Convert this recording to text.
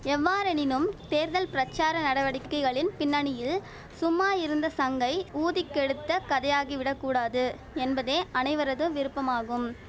எவ்வாறெனினும் தேர்தல் பிரச்சார நடவடிக்கைகளின் பின்னணியில் சும்மா இருந்த சங்கை ஊதிக் கெடுத்த கதையாகி விடக் கூடாது என்பதே அனைவரது விருப்பமாகும்